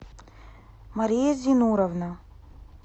мария зинуровна